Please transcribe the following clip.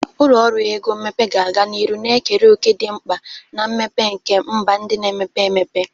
Ụlọ ọrụ ego mmepe ga-aga n'ihu na-ekere òkè dị mkpa na mmepe nke mba ndị na-emepe emepe.